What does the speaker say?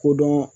Kodɔn